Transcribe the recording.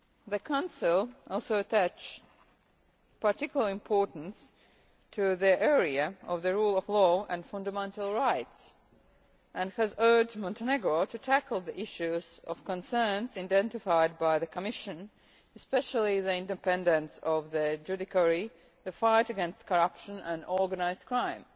The Council also attaches particular importance to the area of the rule of law and fundamental rights and has urged Montenegro to tackle the issues of concern identified by the Commission, especially the independence of the judiciary, the fight against corruption and organised crime.